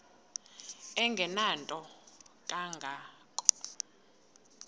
engenanto kanga ko